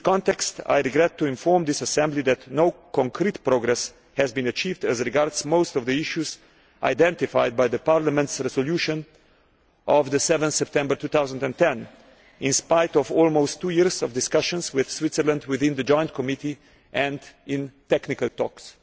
In that context, I regret to inform the House that no concrete progress has been achieved on most of the issues identified by Parliament's resolution of 7 September 2010, in spite of almost two years of discussions with Switzerland within the joint committee, and in technical talks.